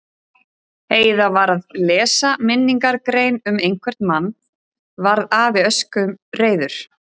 Heiða var að lesa minningargrein um einhvern mann varð afi öskureiður.